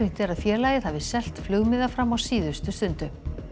er að félagið hafi selt flugmiða fram á síðustu stundu